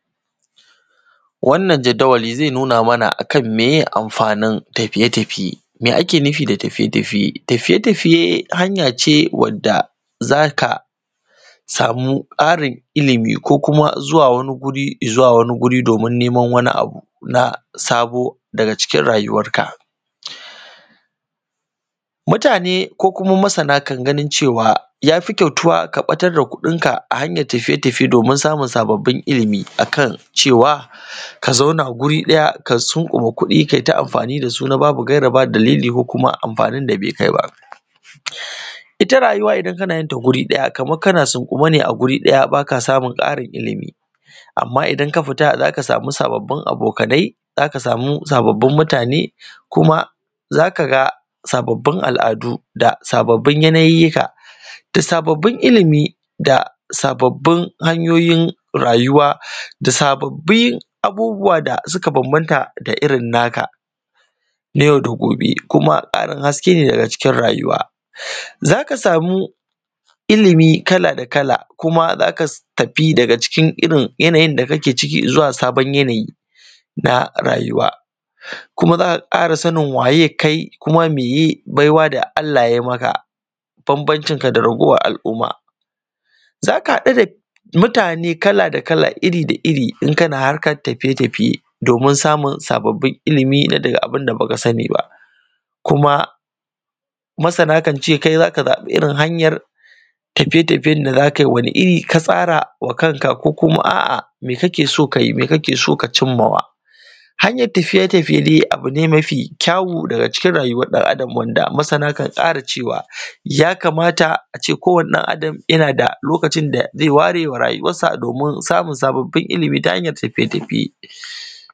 Wannan jadawali ze nuna mana a kan meye amfanin tafiye-tafiye. Me ake nufi da tafiye-tafiye? Tafiye-tafiye hanya ce wanda za ka samu ƙarin ilimi, ko kuma zuwa wani wuri domin neman wani abu na sabo daga cikin rayuwar ka. Mutane ko kuma masana kan ganin cewa ya fi kyau tuba ka ɓatar da kuɗin ka a hanyan tafiye-tafiye domin samun ilimi, akan cewa ka zauna guri ɗaya, ka sunƙuma kuɗi, kai ta amfani da su na babu gaira, ba dalili, ko kuma amfanin da be kai ba. Ita rayuwa, idan kana yin ta guri ɗaya, kaman sunƙume ne a guri ɗaya, ba ka samun ƙarin ilimi. Amma idan ka fita, za ka samu sabbabin abokanai, za ka samu sabbabin mutane, kuma za ka ga sabbabin al’adu, da sabbabin yanayyika, da sabbabin ilimi, da sabbabin hanyoyin rayuwa, da sabbabin abubuwa da suka bambanta da irin naka na yau da gobe kuma ƙarin haskene daga cikin rayuwa. Za ka samu ilimi kala da kala, kuma za ka tafi daga cikin irin yanayin da kake ciki da sabon yanayi da rayuwa, kuma za ka ƙara sanin waye kai, kuwa meye baiwa da Allah ya yi maka bambancin ka da ragowan al’umma. Za ka haɗu da mutane kala da kala, da iri da iri, yana harkar tafiye-tafiye domin samun sabbabin ilimi daga abun da baka sani ba. Kuma masana kan ce kai za ka zaɓi irin hanyan tafiye-tafiyen da za ka yi, wani iri ka tsara wa kanka, ko kuma a’a me kake so ka yi, me kake so ka cinma wa. Hanyan tafiye-tafiye dai abu ne mafi kyau daga cikin rayuwan ɗan-adam da masana kan ƙara cewa ya kamata a ce ko wani ɗan-adam yana da lokacin da ze ware wa rayuwar shi domin samun sabbabin ilimi ta hanyan tafiye-tafiye.